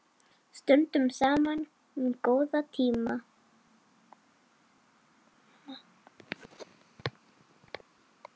Stöndum saman um góða tíma.